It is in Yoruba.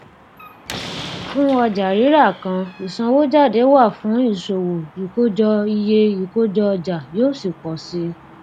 fún ọjàrírà kan ìsanwójáde wà fún ìṣòwò ìkójọ iye ìkójọọjà yóò sì pò sí i